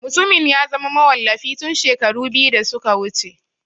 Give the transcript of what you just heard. Mutumin ya zama mawallafi tun shekaru biyu da suka wuce.